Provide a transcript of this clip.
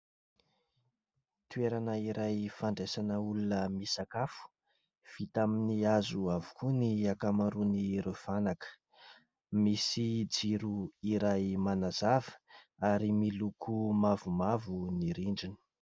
Toerana iray fandraisana olona misakafo vita amin'ny hazo avokoa ny akamaroan'ireo fanaka, misy jiro iray manazava ary miloko mavomavo ny rindriny.